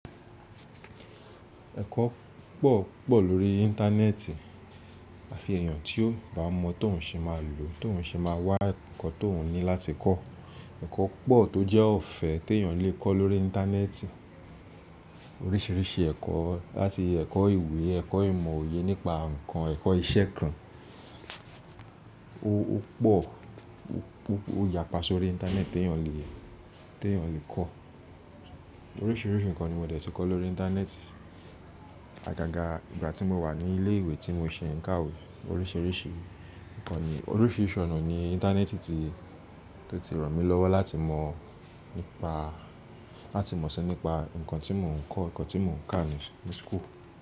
Ẹ̀kọ́ pọ̀, pọ̀ lórí Íńtánẹ́ẹ̀tì. À fi ẹ̀yàn tí ó bá mọ tóun ṣe máa lò, tóun ṣe máa wá ǹkan tóun ní láti kọ́. Ẹ̀kọ́ pọ̀ tó jẹ́ ọ̀fẹ́ tí èyàn lè kọ́ lórí Íńtánẹ́ẹ̀tì. Oríṣìíríṣìí ẹ̀kọ́ láti ẹ̀kọ́ ìwé, ẹ̀kọ́ ìmọ̀ òye nípa ǹkan, ẹ̀kọ́ iṣẹ́ kan. Ó pọ̀, ó yapa sórí Íńtánẹ́ẹ̀tì tí èyàn lè, tí èyàn lè kọ́. Oríṣìíríṣìí ǹkan ni mo dẹ̀ tí kọ́ lórí Íńtánẹ́ẹ̀tì. Àgàgà ìgbà tí mo wà ní ilé ìwé tí mo ṣe ń kàwé. Oríṣìíríṣìí ǹkan ni, oríṣìíríṣìí ọna ni Íńtánẹ́ẹ̀tì tí, tó ti ràn mí lọ́wọ́ láti mọ̀ nípa, láti mọ̀ síi nípa ǹkan tí mò ń kọ́, ǹkan tí mò ń kà ní, ní school.